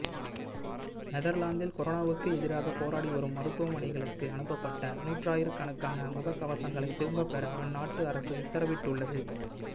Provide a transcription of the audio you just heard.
நெதர்லாந்தில் கொரோனாவுக்கு எதிராக போராடி வரும் மருத்துவமனைகளுக்கு அனுப்பப்பட்ட நூறாயிரக்கணக்கான முக கவசங்களை திரும்ப பெற அந்நாட்டு அரசு உத்தரவிட்டுள்ளது